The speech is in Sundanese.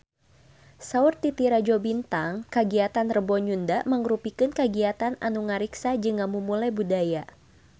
Saur Titi Rajo Bintang kagiatan Rebo Nyunda mangrupikeun kagiatan anu ngariksa jeung ngamumule budaya Sunda